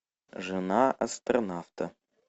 жена астронавта